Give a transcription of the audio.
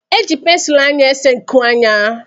Eji pensụl anya ésé nku anya